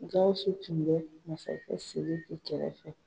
Gawusu tun bɛ masakɛ Sidiki kɛrɛfɛ.